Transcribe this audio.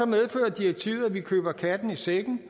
medfører direktivet at vi køber katten i sækken